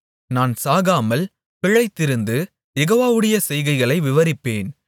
நான் சாகாமல் பிழைத்திருந்து யெகோவாவுடைய செய்கைகளை விவரிப்பேன்